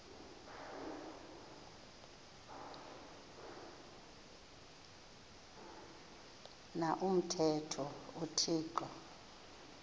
na umthetho uthixo